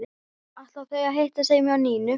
Ætla þau að hittast heima hjá Nínu?